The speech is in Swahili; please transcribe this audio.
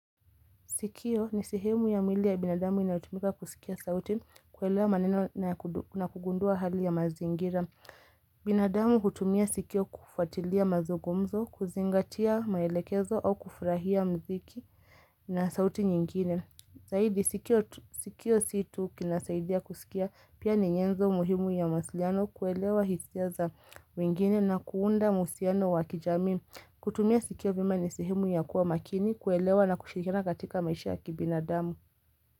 Sikio ni sehemu ya mwili ya binadamu inayotumika kusikia sauti. Kuelewa manena na kugundua hali ya mazingira. Binadamu hutumia sikio kufatilia mazungumzo, kuzingatia maelekezo au kufurahia muziki na sauti nyingine. Zaidi sikio si tu linasaidia kusikia pia ni nyenzo muhimu ya mawasiliano kuelewa hisia za wengine na kuunda uhusiano wa kijamii. Kutumia sikio vyema ni sehemu ya kuwa makini, kuelewa na kushirikiana katika maisha ya kibinadamu.